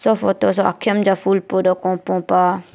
photo soh akim ja ful podo kopo pah.